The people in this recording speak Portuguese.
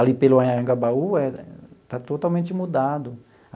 Ali pelo Anhangabaú eh, está totalmente mudado.